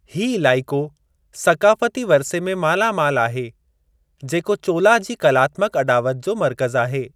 हीउ इलाइक़ो सक़ाफ़ती वरिसे में माला माल आहे, जेको चोला जी कलात्मक अॾावत जो मर्कज़ु आहे।